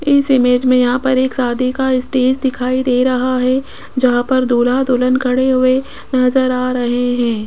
इस इमेज में यहां पर एक शादी का स्टेज दिखाई दे रहा है जहां पर दूल्हा दुल्हन खड़े हुए नजर आ रहे हैं।